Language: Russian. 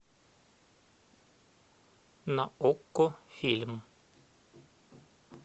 на окко фильм